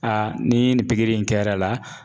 ni nin pikiri in kɛr'a la